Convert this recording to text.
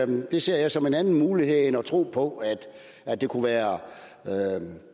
det ser jeg som en anden mulighed end at tro på at det kunne være